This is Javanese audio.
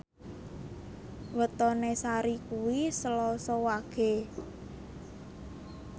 wetone Sari kuwi Selasa Wage